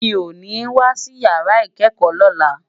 Mi ó ni wásí iyàrá ikèékò lòlá